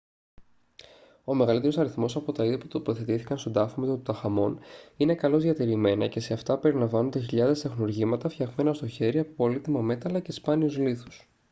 ο μεγαλύτερος αριθμός από τα είδη που τοποθετήθηκαν στον τάφο με τον τουταγχαμών είναι καλώς διατηρημένα και σε αυτά περιλαμβάνονται χιλιάδες τεχνουργήματα φτιαγμένα στο χέρι από πολύτιμα μέταλλα και σπάνιους λίθους